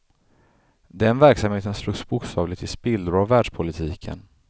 Den verksamheten slogs bokstavligt i spillror av världspolitiken.